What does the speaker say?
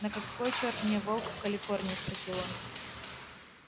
на какой чёрт мне волк в калифорнии спросил он